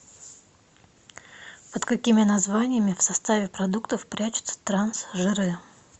под какими названиями в составе продуктов прячутся трансжиры